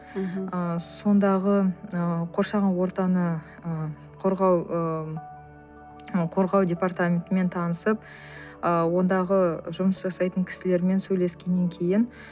мхм ы сондағы ы қоршаған ортаны ы қорғау ыыы қорғау департаментімен танысып ы ондағы жұмыс жасайтын кісілермен сөйлескеннен кейін